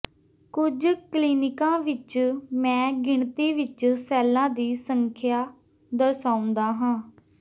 ਕੁੱਝ ਕਲੀਨਿਕਾਂ ਵਿੱਚ ਮੈਂ ਗਿਣਤੀ ਵਿੱਚ ਸੈੱਲਾਂ ਦੀ ਸੰਖਿਆ ਦਰਸਾਉਂਦਾ ਹਾਂ